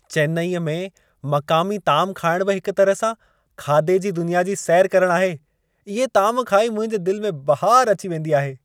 चेन्नई में मक़ामी ताम खाइण बि हिक तरह सां खाधे जी दुनिया जी सैर करण आहे। इहे ताम खाई मुंहिंजे दिल में बहार अचे वेंदी आहे।